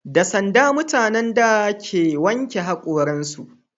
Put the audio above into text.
Da sanda mutanen da suka wanke hakoran su